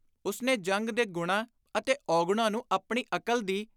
ਉਸਨੇ ਜੰਗ ਦੇ ਗੁਣਾਂ ਅਤੇ ਔਗੁਣਾਂ ਨੂੰ ਆਪਣੀ ਅਕਲ ਦੀ